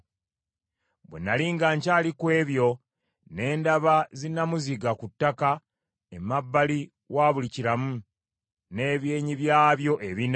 Bwe nnali nga nkyali ku ebyo, ne ndaba zinnamuziga ku ttaka emabbali wa buli kiramu, n’ebyenyi byabyo ebina.